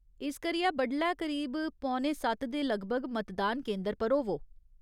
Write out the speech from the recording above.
इस करियै बडलै करीब पौने सत्त दे लगभग मतदान केंदर पर होवो।